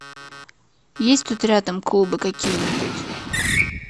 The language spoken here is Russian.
есть тут рядом клубы какие нибудь